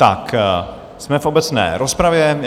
Tak, jsme v obecné rozpravě.